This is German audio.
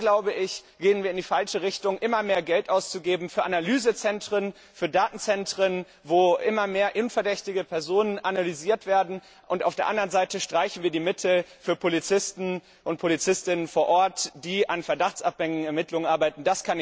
Da gehen wir in die falsche Richtung immer mehr Geld auszugeben für Analysezentren, für Datenzentren, wo immer mehr unverdächtige Personen analysiert werden, während auf der anderen Seite die Mittel für Polizistinnen und Polizisten vor Ort gestrichen werden, die an verdachtsabhängigen Ermittlungen arbeiten.